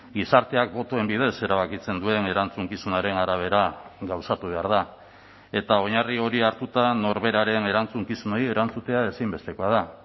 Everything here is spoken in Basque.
gizarteak botoen bidez erabakitzen duen erantzukizunaren arabera gauzatu behar da eta oinarri hori hartuta norberaren erantzukizunei erantzutea ezinbestekoa da